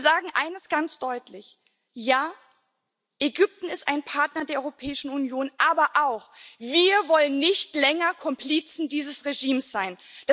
Denn wir sagen eines ganz deutlich Ja, Ägypten ist ein Partner der Europäischen Union, aber wir wollen nicht länger Komplizen dieses Regimes sein.